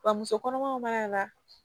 Wa muso kɔnɔmaw b'a la